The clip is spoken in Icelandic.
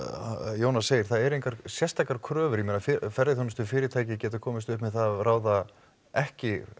Jónas segir það eru engar sérstakar kröfur ég meina ferðaþjónustufyrirtæki geta komist upp með það að ráða ekki